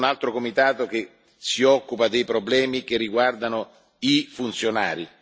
C'è poi un altro comitato che si occupa dei problemi che riguardano i funzionari.